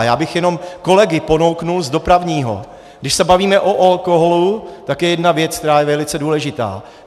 A já bych jenom kolegy ponoukl z dopravního, když se bavíme o alkoholu, tak je jedna věc, která je velice důležitá.